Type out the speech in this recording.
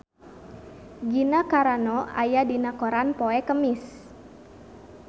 Gina Carano aya dina koran poe Kemis